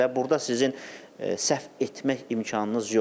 Və burda sizin səhv etmək imkanınız yoxdur.